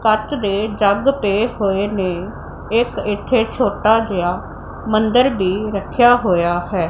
ਕੱਚ ਦੇ ਜਗ ਪਏ ਹੋਏ ਨੇ ਇੱਕ ਇੱਥੇ ਛੋਟਾ ਜਿਹਾ ਮੰਦਰ ਵੀ ਰੱਖਿਆ ਹੋਇਆ ਹੈ।